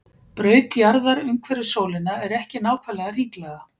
Braut jarðar umhverfis sólina er ekki nákvæmlega hringlaga.